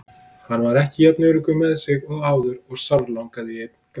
Hann var ekki jafn öruggur með sig og áður og sárlangaði í einn gráan.